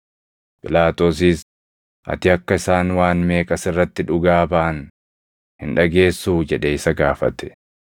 Phiilaaxoosis, “Ati akka isaan waan meeqa sirratti dhugaa baʼan hin dhageessuu?” jedhee isa gaafate.